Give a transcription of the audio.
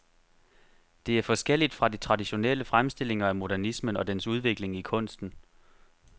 Det er forskelligt fra de traditionelle fremstillinger af modernismen og dens udvikling i kunsten.